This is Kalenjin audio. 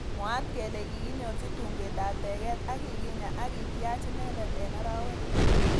Mwaat kele kikinyorji tungwek ab teget ak kikinya akityaach inendet eng arawek lo.